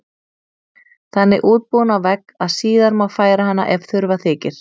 Þannig útbúin á vegg að síðar má færa hana ef þurfa þykir.